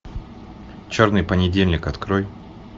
черный понедельник открой